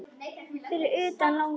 Fyrir utan langur gangur.